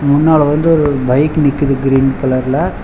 முன்னால வந்து ஒரு பைக்கு நிக்கிது கிரீன் கலர்ல .